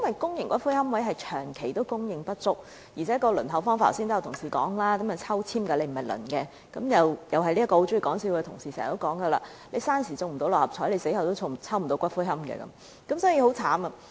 公營龕位長期供應不足，而且剛才有同事說，決定是否得到龕位是靠抽籤而非輪候，因此該名很喜歡開玩笑的同事又會經常說："生時不能中六合彩，死後也不能抽到龕位"，情況很糟。